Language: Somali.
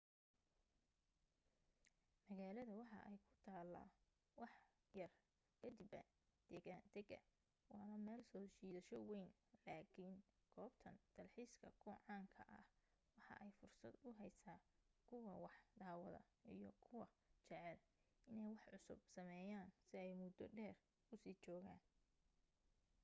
magaalada waxa ay ku taala wax yar kadiba deggaandega waana meel soo jiidasho weyn laakin goobtan dalxiiska ku caanka ah waxa ay fursad u heysa kuwa wax daawada iyo kuwa jecel inee wax cusub sameyan si ay mudo dheer usii joogan